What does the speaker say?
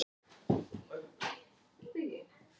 Vera rödd hrópandans þegar svo ber undir.